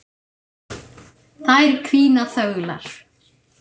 Þær hvína þöglar.